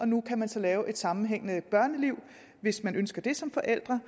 nu kan man så lave et sammenhængende børneliv hvis man ønsker det som forældre